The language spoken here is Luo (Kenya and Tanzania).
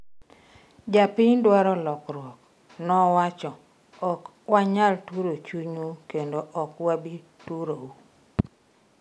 Jopiny dwaro lokruok, nowacho, ok wanyal turo chunyu kendo ok wabi turou